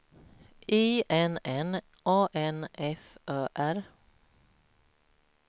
I N N A N F Ö R